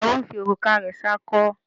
Ìyàwó ń fi òrùka rẹ̀ ṣakọ.